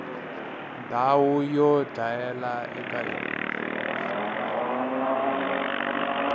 ndhawu yo dlayela eka yona